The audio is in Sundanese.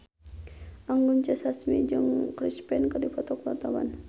Anggun C. Sasmi jeung Chris Pane keur dipoto ku wartawan